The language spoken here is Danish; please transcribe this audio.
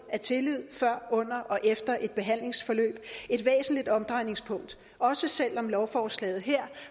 er tillid før under og efter et behandlingsforløb et væsentligt omdrejningspunkt også selv om lovforslaget her